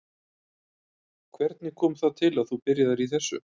Hvernig kom það til að þú byrjaðir í þessu?